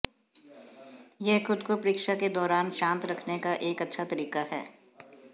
यह खुद को परीक्षा के दौरान शांत रखने का एक अच्छा तरीका है